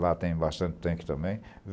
Lá tem bastante tanque também.